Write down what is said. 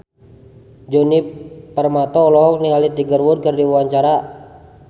Djoni Permato olohok ningali Tiger Wood keur diwawancara